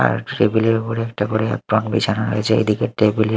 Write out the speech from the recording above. আর table -এর ওপর একটা করে অ্যাপ্রন বিছানো রয়েছে এদিকের টেবিল -এ--